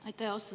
Aitäh!